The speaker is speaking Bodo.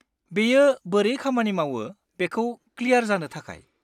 बेयो बोरै खामानि मावो बेखौ क्लियार जानो थाखाय।